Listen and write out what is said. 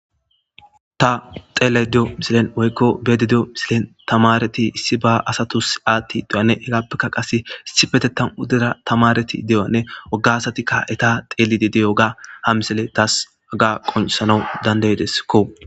ta xeele de7o misilen woykko beedi di7o misilen tamareti issi ba asatus aatti ideyanne hegappekka qase issi fetettan udira tamareti de7oanne oggasatika eta xeelidi diyo ga ha misile taas agga qonsanau dandaydeskko